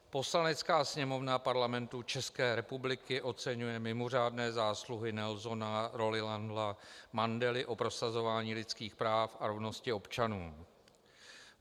Poslanecká sněmovna Parlamentu České republiky oceňuje mimořádné zásluhy Nelsona Rolihlahla Mandely o prosazování lidských práv a rovnosti občanů.